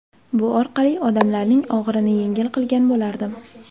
Bu orqali odamlarning og‘irini yengil qilgan bo‘lardim.